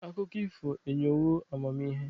Akụkọ ifo enyewo amamihe.